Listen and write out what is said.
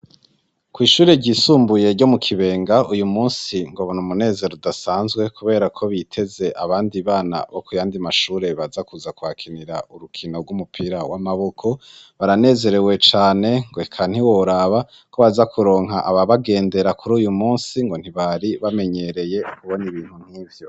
Kwishure ryisumbuye ryo mu Kibenga uyu munsi ngo n'umunezero udasanzwe kuberako biteze abandi bana bo kuyandi mashure baza kuza kuhakinira urukino rw'umupira w'amaboko, baranezerewe cane ngo eka ntiworaba ko baza kuronka aba bagendera kuruyu munsi ngo ntibari bamenyereye kubona ibintu nkivyo.